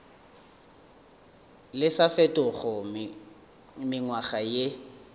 le sa fetego mengwaga ye